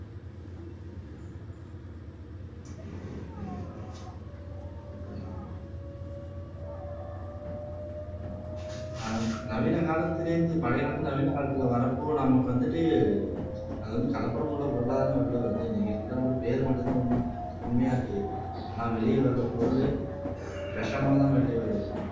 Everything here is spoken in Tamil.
ஆஹ் நவீன காலத்திலே இருந்து பழைய காலத்திலே இருந்து நவீன காலத்திலே வர்றப்போ நமக்கு வந்துட்டு அது வந்து கலப்படமுள்ள பொருளாதானே வெளியிலே வருது நீங்க சொல்ற பேரு மட்டும்தான் உண்மை உண்மையா இருக்குது ஆனா வெளியே வர பொருள் விஷமாதான் வெளியிலே வருது